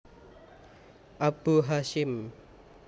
Abu Hasyim